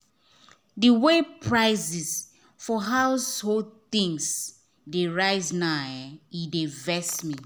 the way prices for household things dey rise now dey vex me.